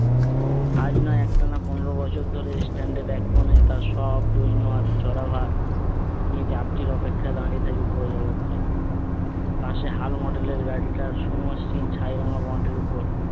আজ নয় একটানা পনোরো বছর ধরে এ stand এক কোণে তার সব দৈন আর জরাভার নিয়ে যাত্রীর অপেক্ষায় দাঁড়িয়ে থাকে বুড়ো জগদ্দল। পাশে হাল model এর গাড়িটা সুমসৃণ ছাই রঙের bond এর উপর